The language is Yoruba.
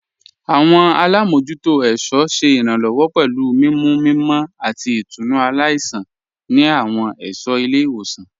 Awọn alámojútò ẹ̀ṣọ ṣé iránlọ́wọ́ pẹ̀lú mimú mímọ̀ àti ìtúnu aláìṣan ni awọn ẹṣọ ilẹ̀-iwosan.